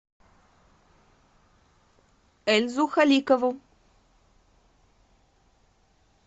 эльзу халикову